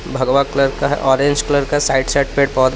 भगवा कलर का हैं ऑरेंज कलर का है साइड साइड पे पौध--